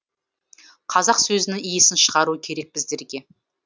қазақ сөзінің иісін шығару керек біздерге